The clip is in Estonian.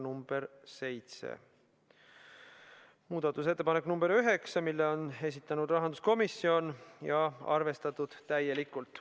Muudatusettepanek nr 9, selle on esitanud rahanduskomisjon ja seda on arvestatud täielikult.